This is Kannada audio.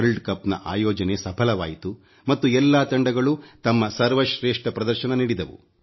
ವಲ್ರ್ಡ್ ಕಪ್ ನ ಆಯೋಜನೆ ಸಫಲವಾಯಿತು ಮತ್ತು ಎಲ್ಲಾ ತಂಡಗಳೂ ತಮ್ಮ ಸರ್ವ ಶ್ರೇಷ್ಠ ಪ್ರದರ್ಶನ ನೀಡಿದವು